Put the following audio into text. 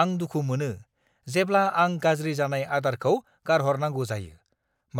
आं दुखु मोनो जेब्ला आं गाज्रि जानाय आदारखौ गारहरनांगौ जायो,